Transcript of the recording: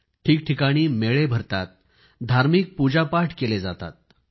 ठिकठिकाणी मेळे भरतात धार्मिक पूजापाठ केले जातात